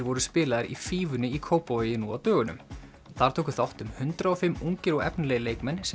voru spilaðir í fífunni í Kópavogi nú á dögunum þar tóku þátt um hundrað og fimm ungir og efnilegir leikmenn sem